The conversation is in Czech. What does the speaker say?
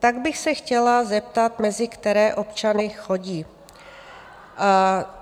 Tak bych se chtěla zeptat, mezi které občany chodí?